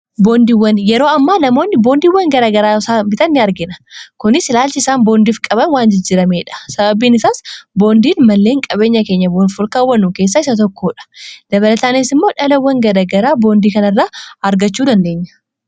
Boondiiwwan yeroo ammaa namoonni boondiiwwan garagaraa yoo bitan ni argina. kuni ilaalchi isaan boondiif qaban waan jijjirameedha. sababiin isaas boondiin malleen qabeenya keenya boonfolkaawwanuu keessaa isa tokkoodha dabalataanias immoo dhalawwan garagaraa boondii kana irraa argachuu dandeenya.